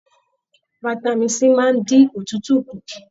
Fitami C máa n dín òtútù kú.